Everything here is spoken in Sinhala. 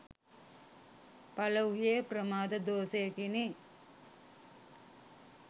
පළවූයේ ප්‍රමාද දෝෂයකිනි.